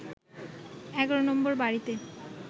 ১১ নম্বর বাড়িতে